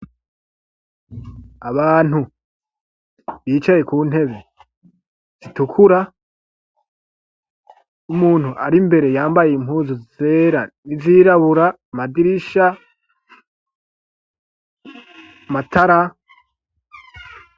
Abantu bicaye ku ntebe zitukura, umuntu ari mbere yambaye impuzu zera n'izirabura. Amadirisha, amatara.